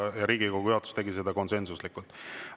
Ja Riigikogu juhatus tegi seda konsensuslikult.